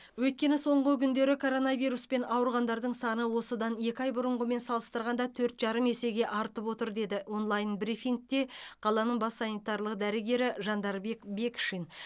өйткені соңғы күндері коронавируспен ауырғандардың саны осыдан екі ай бұрынғымен салыстырғанда төрт жарым есеге артып отыр деді онлайн брифингте қаланың бас санитарлық дәрігері жандарбек бекшин